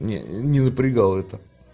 не не напрягал это